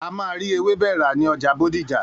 A máa rí ewébẹ̀ rà ní ọjà Bódìjà.